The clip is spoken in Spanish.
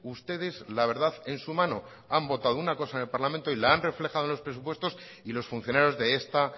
ustedes la verdad en su mano han votado una cosa en el parlamento y la han reflejado en los presupuestos y los funcionarios de esta